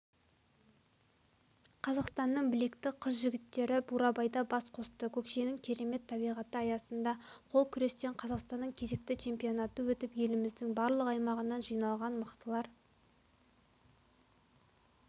қазақстанның білекті қыз-жігіттері бурабайда бас қосты көкшенің керемет табиғаты аясында қол күрестен қазақстанның кезекті чемпионаты өтіп еліміздің барлық аймағынан жиналған мықтылар